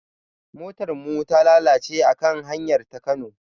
Motar mu ta lalace a kan hanyar ta Kano.